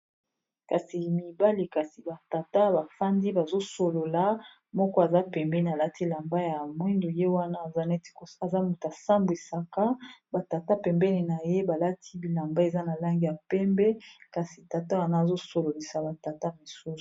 kasi mibale kasi batata bafandi bazosolola moko aza pembeni alati lamba ya moindu ye wana za neti aza motu asambwisaka batata pembeni na ye balati bilamba eza na lange ya pembe kasi tata wana azosololisa batata mosusu